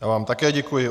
Já vám také děkuji.